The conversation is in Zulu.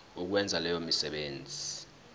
ukwenza leyo misebenzi